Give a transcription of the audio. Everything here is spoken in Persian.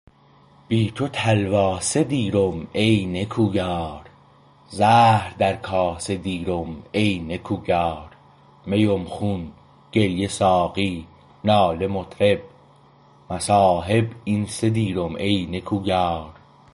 بی تو تلواسه دیرم ای نکویار زهر در کاسه دیرم ای نکویار میم خون گریه ساقی ناله مطرب مصاحب این سه دیرم ای نکویار